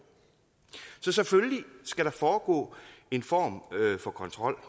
så selvfølgelig skal der foregå en form for kontrol